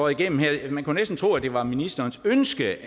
igennem her man kunne næsten tro det var ministerens ønske